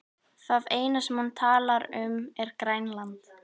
Það eina sem hún talar um er Grænland.